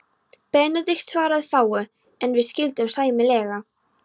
Benedikt svaraði fáu, en við skildum sæmilega.